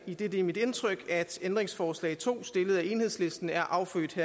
idet det er mit indtryk at ændringsforslag nummer to stillet af enhedslisten er affødt